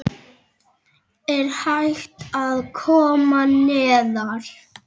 Er hægt að komast neðar?